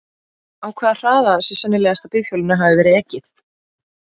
Á hvaða hraða sé sennilegast að bifhjólinu hafi verið ekið?